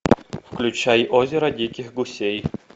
включай озеро диких гусей